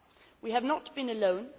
We have not been alone.